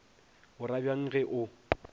o ra bjang ge o